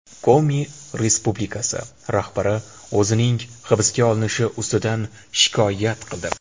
Komi respublikasi rahbari o‘zining hibsga olinishi ustidan shikoyat qildi.